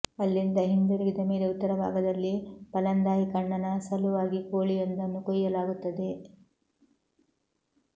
ಅಲ್ಲಿಂದ ಹಿಂದಿರುಗಿದ ಮೇಲೆ ಉತ್ತರ ಭಾಗದಲ್ಲಿ ಪಾಲಂದಾಯಿ ಕಣ್ಣನ ಸಲುವಾಗಿ ಕೋಳಿಯೊಂದನ್ನು ಕೊಯ್ಯಲಾಗುತ್ತದೆ